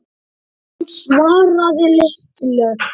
Hún svaraði litlu.